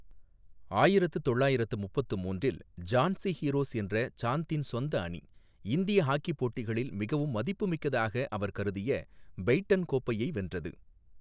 ஆயிரத்து தொள்ளாயிரத்து முப்பத்து மூன்றில், ஜான்சி ஹீரோஸ் என்ற சாந்தின் சொந்த அணி, இந்திய ஹாக்கி போட்டிகளில் மிகவும் மதிப்புமிக்கதாக அவர் கருதிய பெய்ட்டன் கோப்பையை வென்றது.